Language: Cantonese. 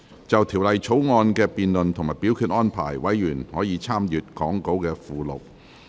就《條例草案》的辯論及表決安排，委員可參閱講稿附錄。